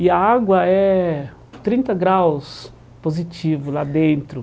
E a água é trinta graus positivo lá dentro.